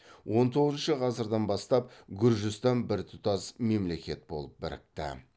он тоғызыншы ғасырдан бастап гүржістан біртұтас мемлекет болып бірікті